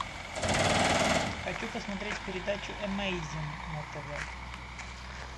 хочу посмотреть передачу эмейзинг на тв